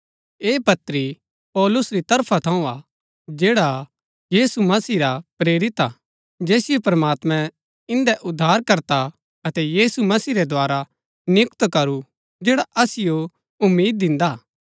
ऐह पत्री पौलुस री तरफा थऊँ हा जैड़ा यीशु मसीह रा प्रेरित हा जैसिओ प्रमात्मैं इन्दै उद्धारकर्ता अतै यीशु मसीह रै द्धारा नियुक्त करू जैड़ा असिओ उम्मीद दिन्दा हा